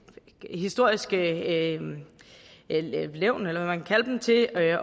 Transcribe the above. historiske levn eller hvad man kan kalde dem til at